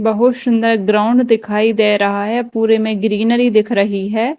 बहुत सुंदर ग्राउंड दिखाई दे रहा है पूरे में ग्रीनरी दिख रही है।